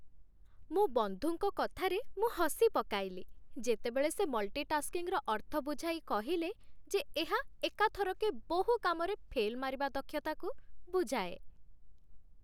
ମୋ ବନ୍ଧୁଙ୍କ କଥାରେ ମୁଁ ହସିପକାଇଲି, ଯେତେବେଳେ ସେ ମଲ୍ଟିଟାସ୍କିଂର ଅର୍ଥ ବୁଝାଇ କହିଲେ ଯେ ଏହା ଏକାଥରକେ ବହୁ କାମରେ ଫେଲ୍ ମାରିବା ଦକ୍ଷତାକୁ ବୁଝାଏ।